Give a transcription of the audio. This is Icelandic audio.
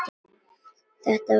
Þetta var rétt fyrir jól.